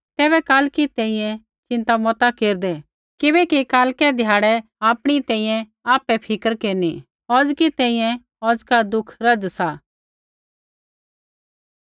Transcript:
तैबै कालकी तैंईंयैं चिन्ता मता केरदै किबैकि कालकै ध्याड़ै आपणी तैंईंयैं आपै फ़िक्र केरनी औज़की तैंईंयैं औज़का दुख रज़ सा